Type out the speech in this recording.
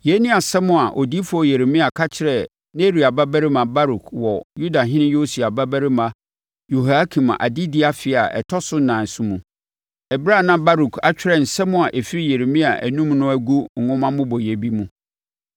Yei ne nsɛm a odiyifoɔ Yeremia ka kyerɛɛ Neria babarima Baruk wɔ Yudahene Yosia babarima Yehoiakim adedie afe a ɛtɔ so ɛnan so mu, ɛberɛ a na Baruk atwerɛ nsɛm a ɛfiri Yeremia anom no agu nwoma mmobɔeɛ bi mu.